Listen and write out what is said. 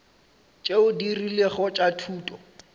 tšeo di rilego tša thuto